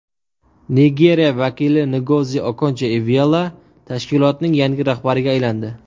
Nigeriya vakili Ngozi Okonjo-Iveala tashkilotning yangi rahbariga aylandi.